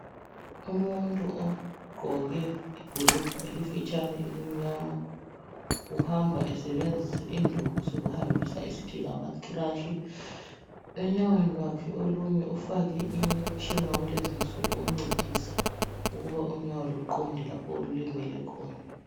Umuntu ogqoke ibhulugwe elifitshane elimnyama, uhamba esebenzisa induku zokuhambisa esithi ngamacrash. Enyaweni lwakhe olunye, ufake umtshina wakulezi insuku. Oncedisa ukuthi unyawo, luqonde, lapha olulimele khona.